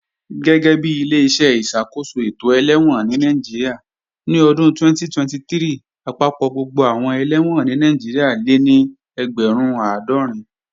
Gẹ́gẹ́bi Ileṣẹ́ ìṣàkóso ètò ẹlẹ́wọ̀n ní Nàìjíríà, ní ọdún 2023, àpapọ̀ gbogbo àwọn ẹlẹ́wọ̀n ní Nàìjíríà lé ní ẹgbẹ̀rún àádọ́rin